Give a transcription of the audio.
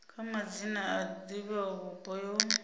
kha madzina a divhavhupo yo